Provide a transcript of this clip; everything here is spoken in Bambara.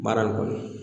Baara in kɔni